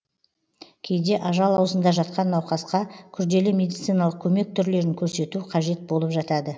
кейде ажал аузында жатқан науқасқа күрделі медициналық көмек түрлерін көрсету қажет болып жатады